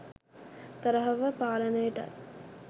තරහව පාලනයටත්